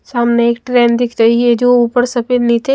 सामने एक ट्रेन दिख रही है जो ऊपर सफेद नीचे--